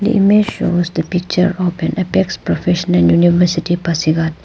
The image shows the picture an apex professional university pasighat.